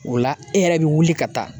O la, e yɛrɛ bɛ wuli ka taa.